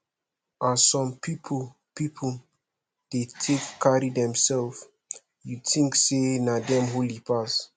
as some pipu pipu de take carry themsef ef you tink sey na dem holy pass